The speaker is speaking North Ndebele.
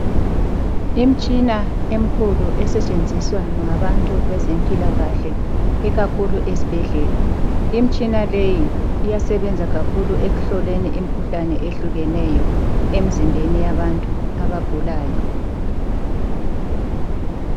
Imitshina emikhulu esetshenziswa ngabantu bezempilakahle ikakhulu esibhedlela. Imitshina leyi iyasebenza kakhulu ekuhloleni imikhuhlane ehlukeneyo emizimbeni yabantu abagulayo.